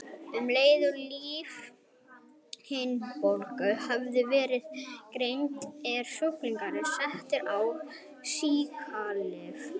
Um leið og lífhimnubólga hefur verið greind er sjúklingurinn settur á sýklalyf.